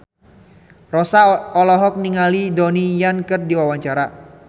Rossa olohok ningali Donnie Yan keur diwawancara